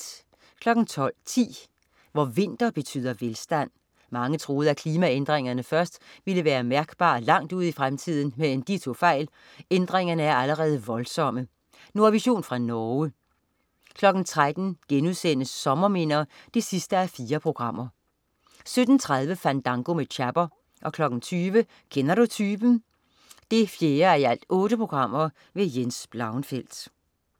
12.10 Hvor vinter betyder velstand. Mange troede, at klimaændringerne først ville være mærkbare langt ude i fremtiden, men de tog fejl. Ændringerne er allerede voldsomme. Nordvision fra Norge 13.00 Sommerminder 4:4* 17.30 Fandango med Chapper 20.00 Kender du typen? 4:8. Jens Blauenfeldt